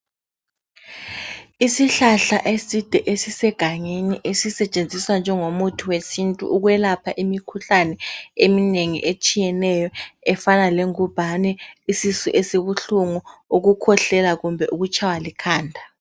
Isihlahla eside esisegangeni esisentshenziswa njengomuthi wesintu ukwelapha imikhuhlane eminengi etshiyeneyo, efana lengubhane, isisu esibuhlungu, ukukhwehlela kumbe ukutshaywa likhanda.